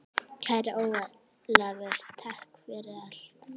Kæri Ólafur, takk fyrir allt.